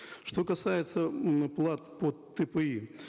что касается м плат по тпи